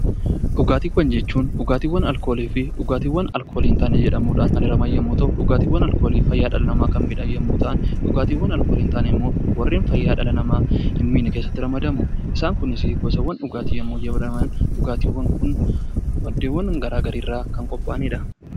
Dhugaatiiwwan jechuun dhugaatiiwwan alkoolii fi dhugaatiiwwan alkoolii hin taane jedhamuudhaan kan hiraman yommuu ta'u, dhugaatiiwwan alkoolii fayyaa dhala namaa kan miidhan yommuu ta'an, dhugaatiiwwan alkoolii hin taane warreen fayyaa dhala namaa hin miine keessatti ramadamu. Isaan kunis gosoota dhugaatii yommuu jedhaman dhugaatiiwwan kun maddeewwan garaagaraa irraa kan qophaa'anidha.